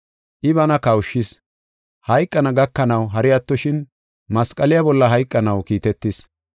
I bana kawushis; hayqana gakanaw, hari attoshin masqaliya bolla hayqanaw kiitetis.